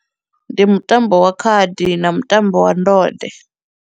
Ndi mutambo wa khadi na mutambo wa ndode.